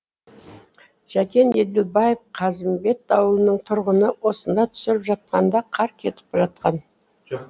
жәкен еділбаев қазымбет ауылының тұрғыны осында түсіріп жатқанда қар кетіп жатқан